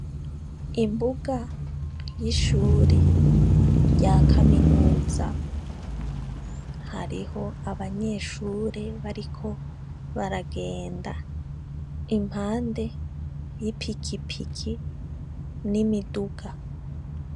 Imbuga y'ishuri rya kaminuza, hariho abanyeshuri bariko baragenda impande y'ipikipiki n'imiduga.